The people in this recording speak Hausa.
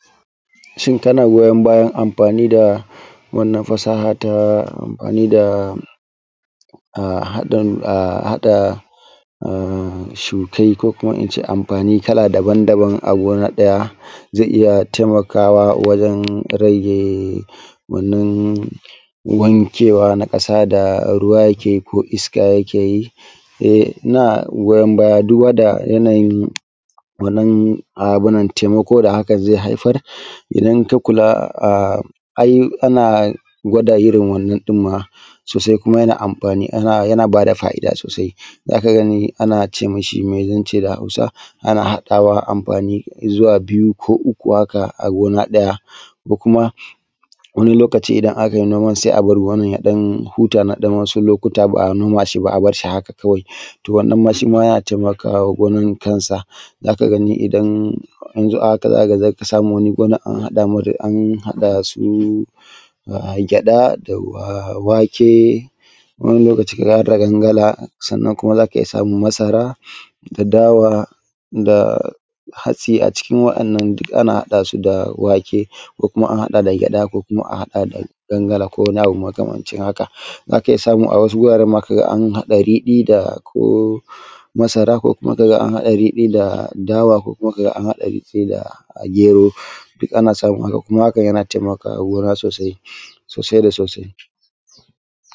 Shin kana goyon bayan amfani da wannan fasaha ta amfani da haɗa shukai ko kuma in ce amfani kala daban-daban a gona ɗaya, zai iya taimakawa wajen rage wannan wani cewa na ƙasa wanda ruwa yake ko iska take yi ina goyon baya duk wanda wannan taimako da haka zai haifar .idan ka kula ai ana gwada irin wannan ɗin ma yana Ƙara fa'ida ana ce mi shi me zan ce ma da Hausa, a haɗa amfani zuwa biyu ko uku da kuma wani lokaci idan aka yi noman sai a bar wurin ya ɗan huta na wasu lokaci ba a noma shi ba. To wannan shi ma ya taimaka ma gona shi kansa za ka ga a haka za ka ga an haɗa da gyaɗa da wake wani lokaci a wata fangala za ka iya samun masara da hatsi a cikin waɗannan da wake duk ana haɗa su. Ko kuma. A haɗa da gyaɗa ko fangala ko makamancin haka. Za ka iya samu a wasu wuraren ma an haɗa riɗi da ko masara ko kuma ka ga an haɗa riɗi da dawa ko kuma ka ga an haɗa riɗi da gero duk ana samun haka. Kuma hakan yana taimaka wa gona sosai da sosai.